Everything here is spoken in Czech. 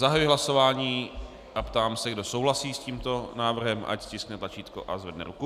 Zahajuji hlasování a ptám se, kdo souhlasí s tímto návrhem, ať stiskne tlačítko a zvedne ruku.